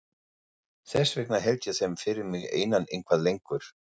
Þess vegna held ég þeim fyrir mig einan eitthvað lengur.